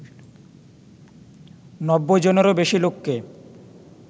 নব্বই জনেরও বেশি লোককে